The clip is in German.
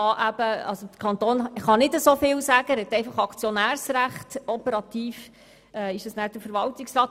Er hat mit der Aktienmehrheit einfach Aktionärsrecht, operativ wirkt dann der Verwaltungsrat.